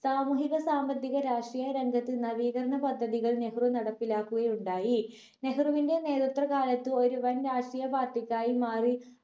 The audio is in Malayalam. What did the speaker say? സാമൂഹിക സാമ്പത്തിക രഷ്ട്രീയ രംഗത്ത് നവീകരണ പദ്ധതികൾ നെഹ്‌റു നടപ്പിലാക്കുകയുണ്ടായി നെഹ്‌റുവിന്റെ നേരത്ര കാലത്ത് ഒരു വൻ രാഷ്ട്രീയ party ക്കായി മാറി